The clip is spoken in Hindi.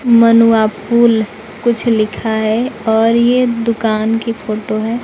मनुआ फुल कुछ लिखा है और ये दुकान की फोटो है।